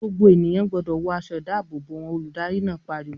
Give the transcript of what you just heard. "Gbogbo ènìyàn gbọdọ̀ wọ aṣọ-ìdáàbòbò wọn!" Olùdarí náà pariwo.